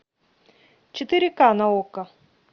четыре ка на окко